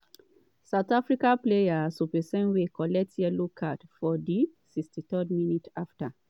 south africa player seopesenwe collect yellow card for di 63rd minute afta